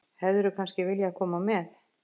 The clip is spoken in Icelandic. Hefðirðu kannski viljað koma með?